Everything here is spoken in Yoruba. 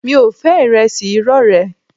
Mi ò fẹ́ ìrẹsì irọ́ rẹ